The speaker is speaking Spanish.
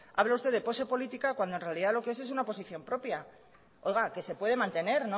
habla usted de pose política cuando en realidad lo que es es una oposición propia oiga que se puede mantener